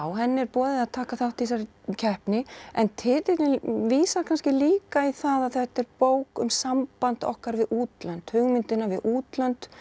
henni er boðið að taka þátt í þessari keppni en titillinn vísar kannski líka í það að þetta er bók um samband okkar við útlönd hugmyndina við útlönd